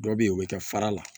Dɔ be yen o bi kɛ fara la